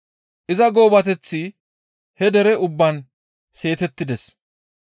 Iza goobateththi he dere ubbaan seetettides.